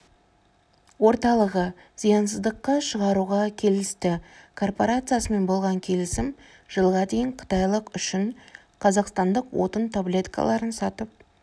орталығы зиянсыздыққа шығаруға келісті корпорациясымен болған келісім жылға дейін қытайлық үшін қазақстандық отын таблеткаларын сатып